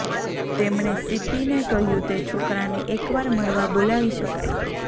તેમણે સીપ્પીને કહ્યું તે છોકરાને એકવાર મળવા બોલાવી શકાય